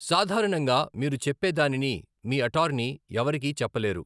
సాధారణంగా మీరు చెప్పేదానిని, మీ అటార్నీ ఎవరికీ చెప్పలేరు.